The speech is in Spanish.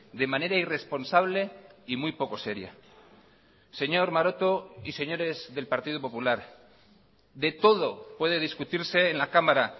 de manera irresponsable y muy poco seria señor maroto y señores del partido popular de todo puede discutirse en la cámara